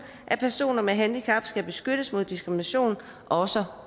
at personer med handicap skal beskyttes mod diskrimination også